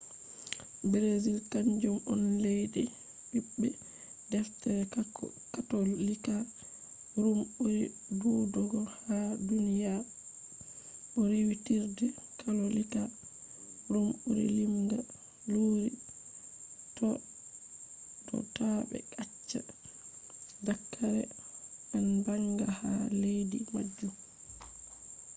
brazil kanjum on leddi bibbe deftere katolika ruum buri dudugo ha duniya bo riwitirde katolika ruum buri limga luuri do ta be acca daakare en banga ha leddi majum